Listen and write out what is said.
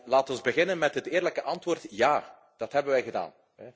Laten we beginnen met het eerlijke antwoord ja, dat hebben wij gedaan.